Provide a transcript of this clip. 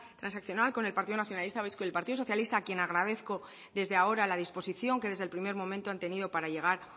transaccional con el partido nacionalista vasco y el partido socialista a quien agradezco desde ahora la disposición que desde el primer momento han tenido para llegar